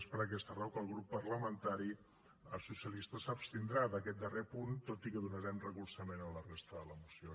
és per aquesta raó que el grup parlamentari socialista s’abstindrà en aquest darrer punt tot i que donarem recolzament a la resta de la moció